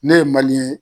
Ne ye ye